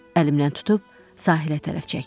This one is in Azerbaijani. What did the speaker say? Əlimdən tutub sahilə tərəf çəkdi.